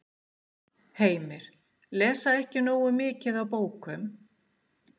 Heimir: Lesa ekki nógu mikið af bókum?